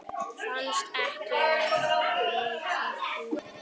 Fannst ekki vera mikið úrval.